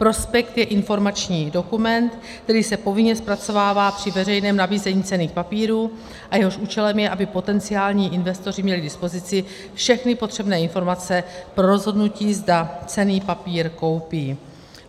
Prospekt je informační dokument, který se povinně zpracovává při veřejném nabízení cenných papírů a jehož účelem je, aby potenciální investoři měli k dispozici všechny potřebné informace pro rozhodnutí, zda cenný papír koupí.